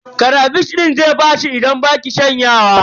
Karafish din zai ɓaci idan baki shanya ba.